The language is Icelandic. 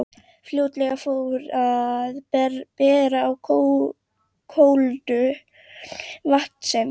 Fljótlega fór að bera á kólnun vatnsins.